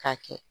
K'a kɛ